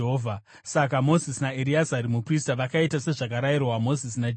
Saka Mozisi naEreazari muprista vakaita sezvakarayirwa Mozisi naJehovha.